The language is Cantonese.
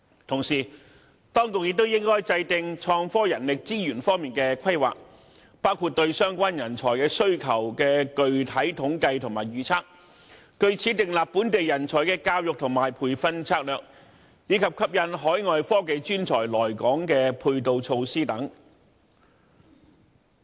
同時，當局也應該制訂創科人力資源方面的規劃，包括對相關人才需求的具體統計和預測，據此訂立本地人才的教育和培訓策略，以及吸引海外科技專才來港的配套措施等。